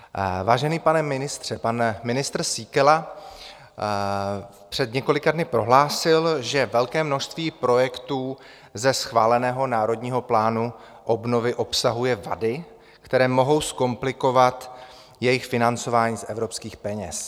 Vážený pane ministře, pan ministr Síkela před několika dny prohlásil, že velké množství projektů ze schváleného Národního plánu obnovy obsahuje vady, které mohou zkomplikovat jejich financování z evropských peněz.